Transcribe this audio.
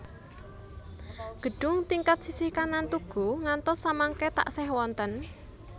Gedhung tingkat sisih kanan tugu ngantos samangke taksih wonten